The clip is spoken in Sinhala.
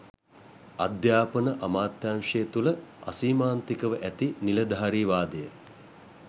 අධ්‍යාපන අමාත්‍යාංශය තුළ අසීමාන්තිකව ඇති නිලධාරීවාදය